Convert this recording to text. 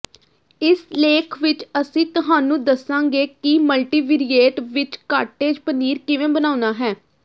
ਇਸ ਲੇਖ ਵਿਚ ਅਸੀਂ ਤੁਹਾਨੂੰ ਦੱਸਾਂਗੇ ਕਿ ਮਲਟੀਵੀਰੀਏਟ ਵਿਚ ਕਾਟੇਜ ਪਨੀਰ ਕਿਵੇਂ ਬਣਾਉਣਾ ਹੈ